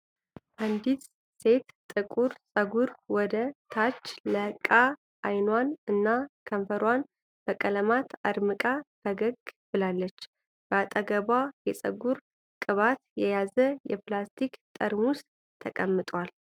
አንዲት ሴት ጥቁር ጸጉር ወደ ታች ለቃ አይኗን እና ከንፈሯን በቀለማት አድምቃ ፈገግ ብላለች። ከአጠገቧም የጸጉር ቅባትን የያዘ የፕላስቲክ ጠርሙስ ተቀምጧል።